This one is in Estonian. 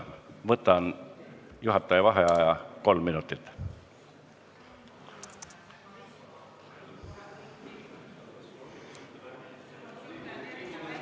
Võtan juhataja vaheaja kolm minutit.